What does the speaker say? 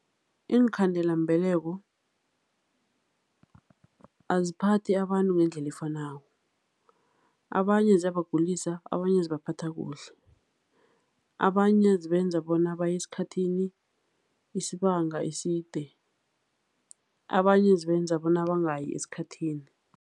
Iinkhandelambeleko aziphathi abantu ngendlela efanako. Abanye ziyabagulisa, abanye zibaphatha kuhle. Abanye zibenza bona baye esikhathini isibanga eside, abanye zibenza bona bangayi esikhathini.